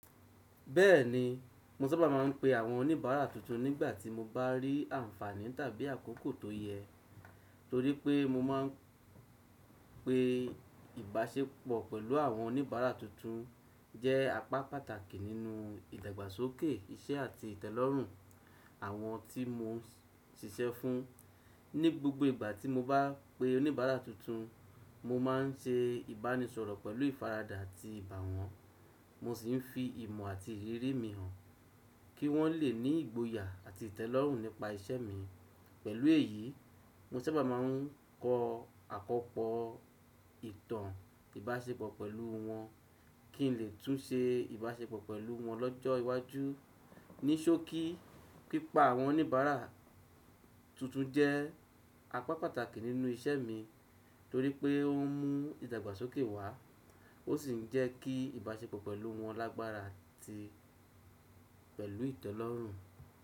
Bẹ́ẹ̀ni, mo sábà máa ń pe àwọn oníbàárà tuntun nígbà tí mo bá rí àǹfààní tàbí àkókò tó yẹ. Torí pé mo máa ń pe ìbáṣepọ̀ pẹ̀lú àwọn oníbàárà tuntun jẹ́ apá pàtàkì nínú ìdàgbàsókè iṣẹ́ àti ìtẹ́lọ́rùn àwọn tí mo ń ṣiṣẹ́ fún. Ní gbogbo ìgbà tí mo bá pe oníbàárà tuntun, mo má a ń ṣe ìbánisọ̀rọ̀ pẹ̀lú ìfaradà àti ìbà wọ́n, mo sì ń fi ìmọ̀ àti ìrírí mi hàn kí wọ́n lè ní ìgboyà àti ìtẹ́lọ́rùn nípa iṣẹ́ mi. Pẹ̀lú èyí, mo sábà máa ń kọ àkọpọ ìtàn ìbáṣepọ̀ pẹ̀lú wọn kí n lè tún ṣe ìbáṣepọ̀ pẹ̀lú wọn lọ́jọ́ iwájú. Ni sókí, pípa àwọn oníbàárà tuntun jẹ́ apá pàtàkì nínú iṣẹ́ mi torí pé ó ń mú ìdàgbàsókè wá, ó sì ń jẹ́ kí ìbáṣepọ̀ pẹ̀lú wọn lágbára àti pẹ̀lú ìtẹ́lọ́rùn.